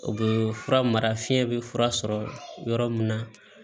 O bɛ fura mara fiɲɛ bɛ fura sɔrɔ yɔrɔ min na